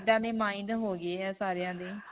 ਇੱਦਾਂ ਦੇ mind ਹੋ ਗਏ ਹੈ ਸਾਰੀਆਂ ਦੇ.